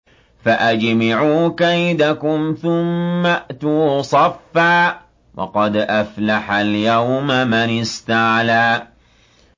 فَأَجْمِعُوا كَيْدَكُمْ ثُمَّ ائْتُوا صَفًّا ۚ وَقَدْ أَفْلَحَ الْيَوْمَ مَنِ اسْتَعْلَىٰ